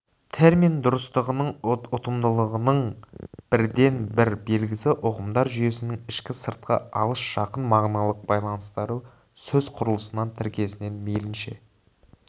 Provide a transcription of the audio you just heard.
термин дұрыстығының ұтымдылығының бірден-бір белгісі ұғымдар жүйесінің ішкі сыртқы алыс жақын мағыналық байланыстары сөз құрылысынан тіркесінен мейлінше